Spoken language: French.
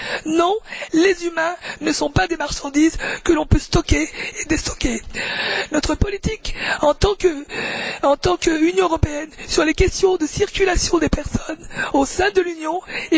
Non, les humains ne sont pas des marchandises que l'on peut stocker et déstocker. Notre politique en tant qu'Union européenne sur les questions de circulation des personnes au sein de l'Union et pour l'entrée et la sortie des pays tiers est inacceptable.